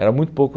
Era muito pouco.